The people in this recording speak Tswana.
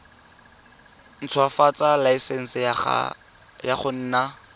ntshwafatsa laesense ya go nna